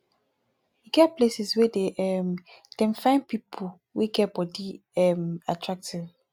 e get places wey dey um dem find pipo wey get body um attractive